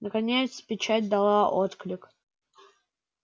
наконец печать дала отклик